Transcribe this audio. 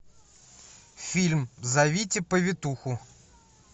фильм зовите повитуху